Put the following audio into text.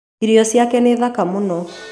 irio cĩake nĩ thaka mũno.